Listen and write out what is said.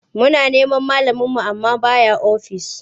Muna neman malaminmu amma ba ya ofis.